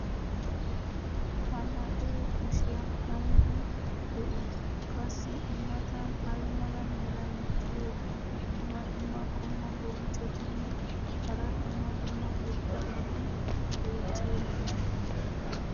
ha na'ee kushiyan aybi de'ii? qassi i matan ay mala meray diyo dumma dumma qommo bonccotinne hara dumma dumma irxxabati beetiyoonaa?